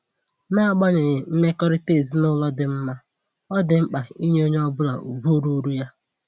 N'agbanyeghị mmekọrịta ezinụlọ dị mma, ọ dị mkpa inye onye ọbụla ugwu ruuru ya